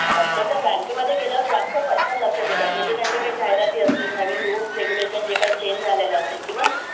पण बँकेमध्ये गेल्यावर जरा जास्त पटकन लक्षात येतात म्हणजे त्यांचे जे जाहिराती असतील रूल्स रेगुलेशन जे काही चेंज झाल्या असतील ईवन